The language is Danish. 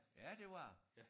Ja det var